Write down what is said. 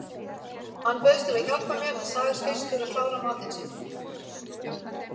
Hann bauðst til að hjálpa mér en sagðist fyrst þurfa að klára matinn sinn.